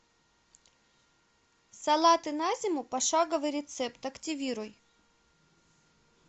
салаты на зиму пошаговый рецепт активируй